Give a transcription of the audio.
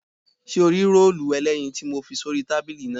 Ṣé o rí róòlù ẹlẹ́yin tí mo fi sórí tábìlì náà?